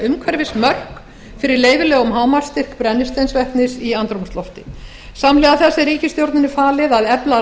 umhverfismörk fyrir leyfilegum hámarksstyrk brennisteinsvetnis í andrúmslofti samhliða þessu er ríkisstjórninni falið að efla